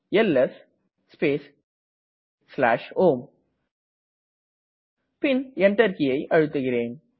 LS space home Enter கீயை அழுத்துகிறேன்